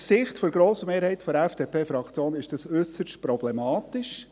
Aus Sicht der grossen Mehrheit der FDP-Fraktion ist dies äusserst problematisch.